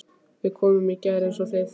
Við komum í gær eins og þið.